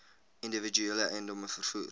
individuele eiendomme vervoer